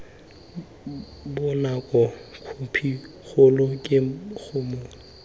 bonako khophi kgolo ke mokgwa